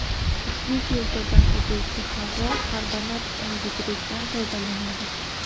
Ushbu filtrdan o‘tuvchi havo karbonat angidriddan tozalanadi.